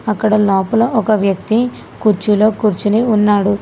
అక్కడ లోపల ఒక వ్యక్తి కుర్చీలో కూర్చోని ఉన్నాడు.